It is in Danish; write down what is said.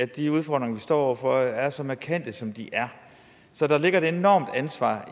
de udfordringer vi står over for er så markante som de er så der ligger et enormt ansvar